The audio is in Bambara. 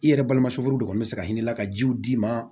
I yɛrɛ balimamuso furu de kɔni bɛ se ka hinɛ la ka jiw d'i ma